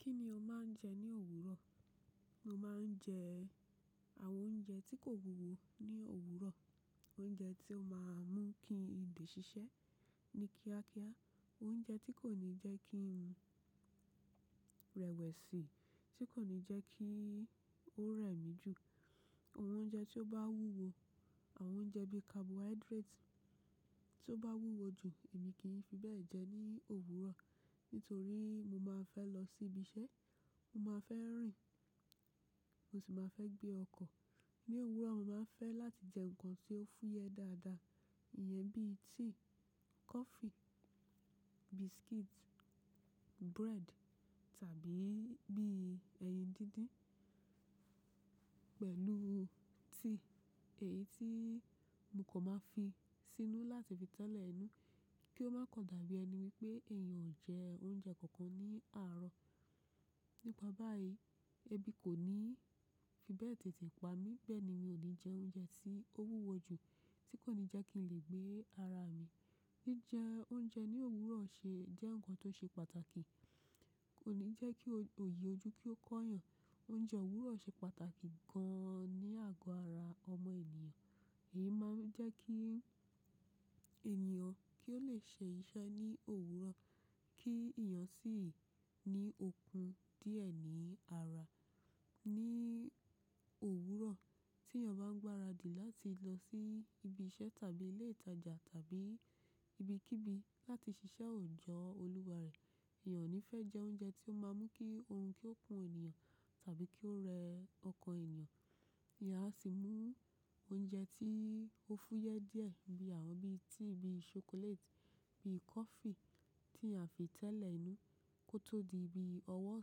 Kí ni o máa ń jẹ ní òwúrọ̀? Mo máa ń jẹ àwọn oúnjẹ tí kò wúwo ní òwúrọ̀. Oúnjẹ tí ó máa ń mú kí le ṣiṣẹ́ ní kíákíá. Oúnjẹ tí kò ní jẹ́ kí ń rẹwẹ̀sì, tí kò ní jẹ́ kí ó rẹ̀ mí jù. Àwọn oúnjẹ tí ó bá wúwo, àwọn oúnjẹ bí i carbohydrate tí ó bá wúwo jù, èmi kì í fi bẹ́ẹ̀ jẹ ní òwúrọ̀. Nítorí mo máa fẹ́ lọ sí ibi iṣẹ́, mo máa fẹ́ rìn, mo sì máa fẹ́ gbé ọkọ̀. Ní òwúrọ̀, mo máa ń fẹ́ láti jẹ nǹkan tí ó fúyẹ́ dáadáa, ìyẹn bíi tíì, coffee, biscuit, bread tàbí bí i ẹyin díndín pẹ̀lú tea. Èyí tí mo kan máa fi sínú láti fi tẹ́lẹ̀ inú kí ó máa kan dàbí ẹni wípé èèyàn ò jẹ oúnjẹ kankan ní àárọ̀. Nípa báyìí, ẹbí kò ní fi bẹ́ẹ̀ tètè pa mí. Bẹ́ẹ̀ ni mi ní jẹ oúnjẹ tí ó wúwo jù tí kò ní jẹ́ kí n lè gbé ara mi. Jíjẹ oúnjẹ ní òwúrọ̀ ṣe jẹ́ nǹkan tó ṣe pàtàkì. Kò ní jẹ́ kí ogbòyi ojú kí ó kọ́yàn. Oúnjẹ òwúrọ̀ ṣe pàtàkì gan an ní àgọ́ ara ọmọ ènìyàn. Iyí máa ń jẹ́ kí ènìyàn kí ó lè ṣe iṣẹ́ ní òwúrọ̀ kí ìyàn sì ní okun díẹ̀ ní ara. Ní òwúrọ̀ tí èèyàn bá ń gbáradi láti lọ sí ibi iṣẹ́ tàbí ilé ìtajà tàbí ibikíbi láti ṣiṣẹ́ ò jọ́ olúwa rẹ̀, èèyàn ò ní fẹ́ jẹ oúnjẹ tí ó máa ń mú kí oorun kí ó kún ènìyàn tàbí kí ó rẹ ọkàn ènìyàn. Ìyá á sì mú oúnjẹ tí ó fúyẹ́ díẹ̀ bí àwọn bí i tea bí i chocolate, bí i coffee tí eeyan afi tẹ́lẹ̀ inú kó tó di bí i ọwọ́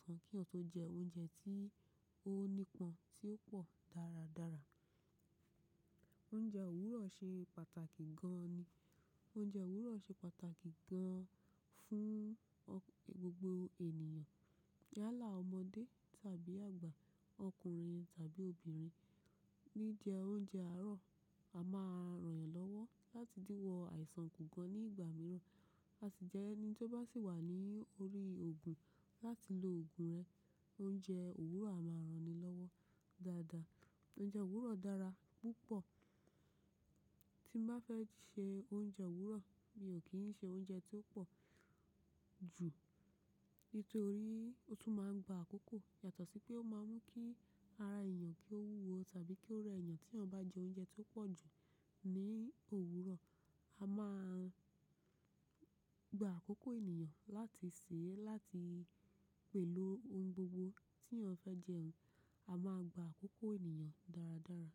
sàn kí eyan ọ̀ tọ́ jẹ oúnjẹ tí ó nípọn tí ó pò dáradára. Oúnjẹ òwúrọ̀ ṣe pàtàkì gan an ni. Oúnjẹ òwúrọ̀ ṣe pàtàkì gan an fún gbogbo ènìyàn. Yálá ọmọdé tàbí àgbà, ọkùnrin tàbí obìnrin. Jijẹ oúnjẹ àárọ̀, a máa ràn yàn lọ́wọ́ láti dìwọ́ àìsàn ku gan ní ìgbà mìíràn. A sì jẹ́ ẹni tí ó bá sì wà ní orí òògùn láti lo òògùn rẹ. Oúnjẹ òwúrọ̀ a máa rani lọ́wọ́ dáadáa. Oúnjẹ òwúrọ̀ dára púpọ̀. Tí mo bá fẹ́ ṣe oúnjẹ òwúrọ̀, mi ò kì í ṣe oúnjẹ tí ó pò jù nítorí ó tún máa ń gba àkókò. Yàtọ̀ sí pé ó máa ń mú kí ara èèyàn kí ó wúwo tàbí kí ó rẹ èèyàn tí wọ́n bá jẹ oúnjẹ tí ó pò jù ní òwúrọ̀. A máa gba àkókò èniyàn láti sè é, láti pẹ̀lú ohun gbogbo tí èèyàn fẹ́ jẹ. A máa gba àkókò èèyàn dáradára.